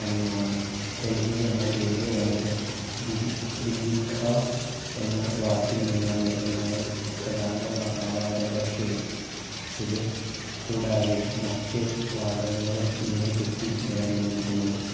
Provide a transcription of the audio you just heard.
അനുമാനം ഡൽഹി എന്ന പേര് വന്നത് ദിൽ ദില്ലിക്കാ എന്ന വാക്കിൽ നിന്നാണ് എന്നാണ് പ്രധാന വാ ആ വാദം പക്ഷെ ഇത് കൂടാതെ മറ്റ് വാദങ്ങളും ഇതിനെ പറ്റി നിലനിന്നിരിക്കുന്നു.